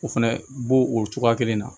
O fɛnɛ bo o cogoya kelen na